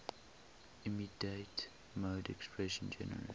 immediate mode expression generates